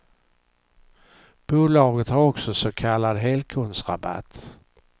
Bolaget har också så kallad helkundsrabatt.